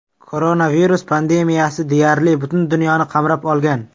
Koronavirus pandemiyasi deyarli butun dunyoni qamrab olgan.